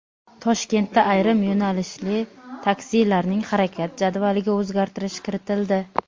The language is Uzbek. Toshkentda ayrim yo‘nalishli taksilarning harakat jadvaliga o‘zgartirish kiritildi.